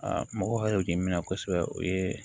mɔgɔ hakɛ min na kosɛbɛ o ye